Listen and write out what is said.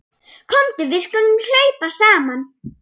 Komdu við skulum hlaupa saman.